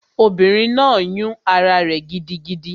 Obìnrin náà yún ará rẹ̀ gidigidi